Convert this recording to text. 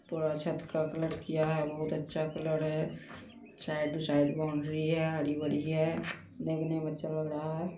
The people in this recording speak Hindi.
पूरा छत का कलर किया है बोहोत अच्छा कलर है साइड टू साइड बॉउंड्री है हरी बड़ी है देखने मे अच्छा लग रहा है।